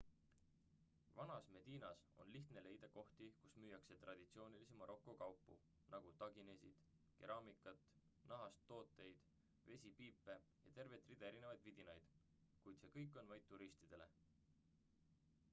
vanas medinas on lihtne leida kohti kus müüakse traditsioonilisi maroko kaupu nagu taginesid keraamikat nahast tooteid vesipiipe ja tervet rida erinevaid vidinaid kuid see kõik on vaid turistidele